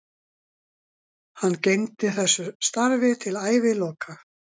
Hann gegndi þessu starfi til æviloka.